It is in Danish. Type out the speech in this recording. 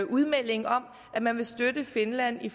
udmelding om at man vil støtte finland i